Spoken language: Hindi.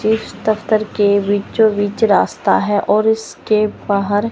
इस दफ्तर के बिचो बीच रास्ता है और इसके बाहर--